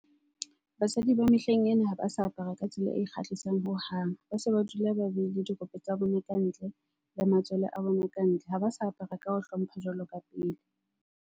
Basadi ba mehleng ena ha ba sa apara ka tsela e kgahlisang hohang. Ba se ba dula ba beile dirope tsa bona ka ntle le matswele a bona kantle. Ha ba sa apara ka ho hlompha jwalo ka pele.